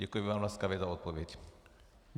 Děkuji vám laskavě za odpověď.